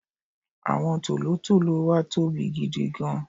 àwọn tòlótòló wa tóbi gidigan